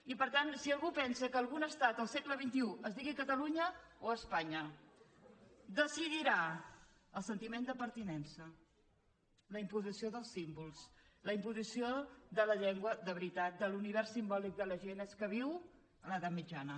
i per tant si algú pensa que algun estat al segle xxi es digui catalunya o espanya decidirà el sentiment de pertinença la imposició dels símbols la imposició de la llengua de veritat de l’univers simbòlic de la gent és que viu a l’edat mitjana